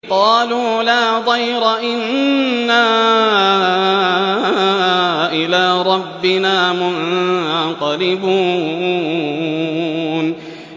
قَالُوا لَا ضَيْرَ ۖ إِنَّا إِلَىٰ رَبِّنَا مُنقَلِبُونَ